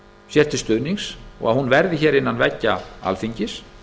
sér til stuðnings og hún verði hér innan veggja alþingis